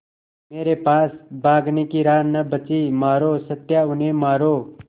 मेरे पास भागने की राह न बची मारो सत्या उन्हें मारो